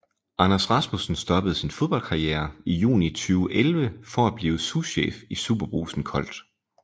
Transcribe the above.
Anders Rasmussen stoppede sin fodboldkarriere i juni 2011 for at blive souschef i SuperBrugsen Kolt